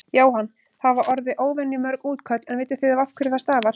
Jóhann: Það hafa orði óvenju mörg útköll en vitið þið af hverju það stafar?